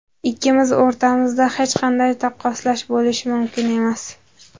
Ikkimiz o‘rtamizda hech qanday taqqoslash bo‘lishi mumkin emas.